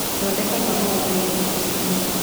thondeka kahũa thaaĩgĩrĩ rũcĩĩnĩ